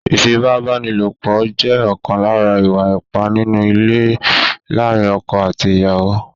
Ífipá-báni-lòpọ̀ jẹ́ ọ̀kan lára ìwà ipá nínú ilé láàárín ọkọ̀ àti ìyàwó.